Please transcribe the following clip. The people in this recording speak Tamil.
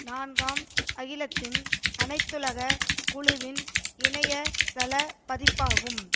நான்காம் அகிலத்தின் அனைத்துலக குழுவின் இணைய தள பதிப்பாகும்